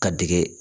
Ka dege